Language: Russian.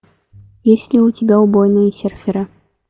есть ли у тебя убойные серферы